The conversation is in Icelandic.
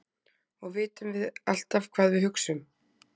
og vitum við alltaf hvað við hugsum